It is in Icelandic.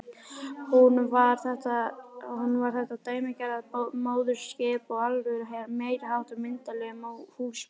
Hún var þetta dæmigerða móðurskip og alveg meiriháttar myndarleg húsmóðir.